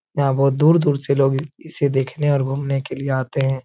यहाँ बहोत दूर दूर से लोग इ इसे देखने और घूमने के लिए आते हैं।